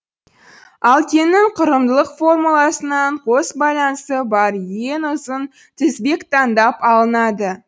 алкеннің құрылымдық формуласынан қос байланысы бар ең ұзын тізбек таңдап алынады